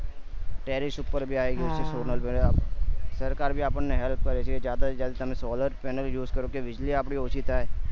terrorist ઉપર બી આવી ગયી છે solar panel સરકાર બી આપડ ને બી help કર હ જયદા જ્યાદા તમે solar panels use કરો કે વીજળી આપડી ઓછી થાય